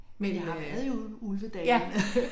Men jeg har været i Ulvedalene